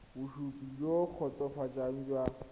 bosupi jo bo kgotsofatsang jwa